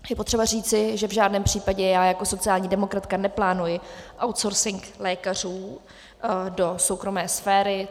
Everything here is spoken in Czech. Je potřeba říci, že v žádném případě já jako sociální demokratka neplánuji outsourcing lékařů do soukromé sféry.